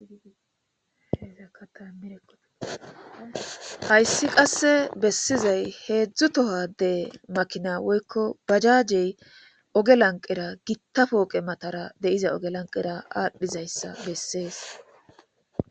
Hayssi qasse bessizay heedzdzu tohade makina woykko bajajey oge lanqera gitta pooqe matara de'iza oge lanqera aadhdhizayssa bessees